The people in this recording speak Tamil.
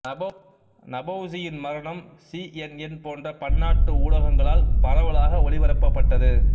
நபௌசியின் மரணம் சிஎன்என் போன்ற பன்னாட்டு ஊடகங்களால் பரவலாக ஒளிபரப்பப்பட்டது